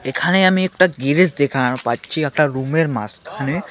এখানে আমি একটা গেরেজ দেখার পাচ্ছি একটা রুমের মাঝখানে .